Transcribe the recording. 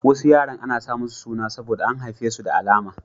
Wasu yaran ana sa musu suna saboda an haife su da alama.